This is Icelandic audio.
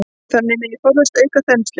Þannig megi forðast aukna þenslu.